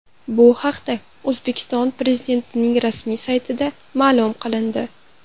Bu haqda O‘zbekiston Prezidentining rasmiy saytida ma’lum qilindi .